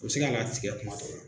U bi sina ka tigɛ kuma dɔw la.